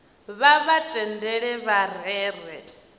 vha vha tendele vha rere